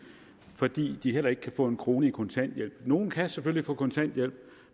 fordi de heller ikke kan få en krone i kontanthjælp nogle kan selvfølgelig få kontanthjælp